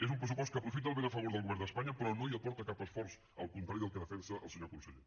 és un pressupost que aprofita el vent a favor del govern d’espanya però no hi aporta cap esforç al contrari del que defensa el senyor conseller